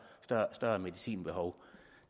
større medicinbehov